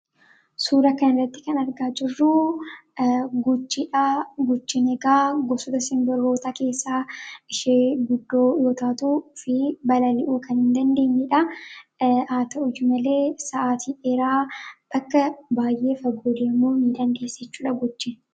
suura kanrratti kan argaa jirruu guchidhaa guchin egaa gofsota sinbaroota keessaa ishee guddoo yootaatuu fi balali'uu kan hin dandeenidha haata u malee sa'aatii eeraa bakka baay'ee fagoodeemuu ni dandeessichuudha gujin